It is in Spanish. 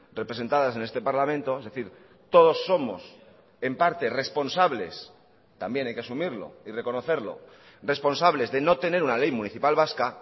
representadas en este parlamento es decir todos somos en parte responsables también hay que asumirlo y reconocerlo responsables de no tener una ley municipal vasca